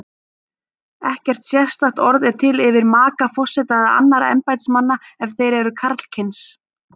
Ekkert sérstakt orð er til yfir maka forseta eða annarra embættismanna ef þeir eru karlkyns.